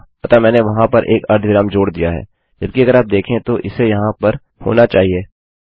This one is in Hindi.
अतः मैंने वहाँ पर एक अर्धविराम जोड़ दिया है जबकि अगर आप देखें तो इसे यहाँ पर होना चाहिए